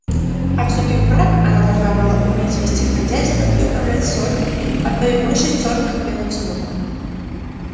а вступив в брак она должна была уметь вести хозяйство и управлять сотней а то и больше черных и белых слуг